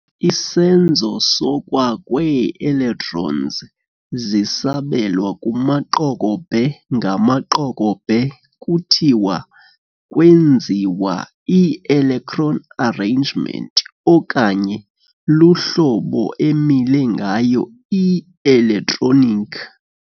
Isenzo sokwa]kwee-electrons zisabelwa kumaqokobhe-ngamaqokobhe kuthiwa kwenziwa i-electronic arrangement, okanye luhlobo emile ngayo i-electronic.